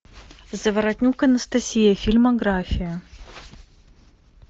заворотнюк анастасия фильмография